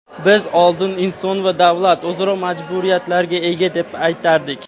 Biz oldin inson va davlat o‘zaro majburiyatlarga ega deb aytardik.